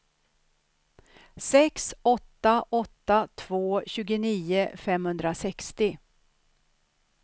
sex åtta åtta två tjugonio femhundrasextio